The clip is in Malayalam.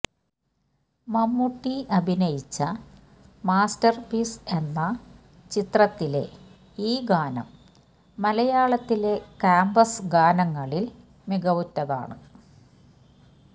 മമ്മൂട്ടി അഭിനയിച്ച മാസ്റ്റർ പീസ് എന്ന ചിത്രത്തിലെ ഈ ഗാനം മലയാളത്തിലെ ക്യാമ്പസ് ഗാനങ്ങളിൽ മികവുറ്റതാണ്